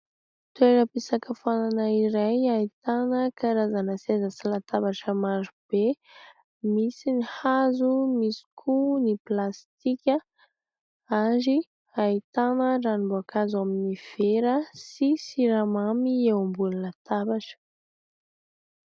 Toeram-pisakafoanana iray ahitana karazana seza sy latabatra maro be, misy ny hazo, misy koa ny plastika ary ahitana ranom-boankazo ao amin'ny vera sy siramamy eo ambony latabatra.